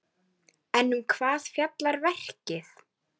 Þar er nokkur veiði.